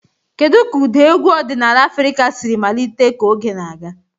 Kedu ka ụda egwu ọdịnala Afrịka siri malite ka oge na-aga?